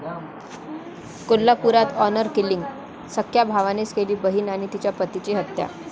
कोल्हापुरात honour killing?, सख्ख्या भावानेच केली बहिण आणि तिच्या पतीची हत्या